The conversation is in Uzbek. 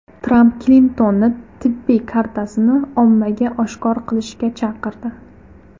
Tramp Klintonni tibbiy kartasini ommaga oshkor qilishga chaqirdi .